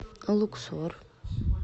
луксор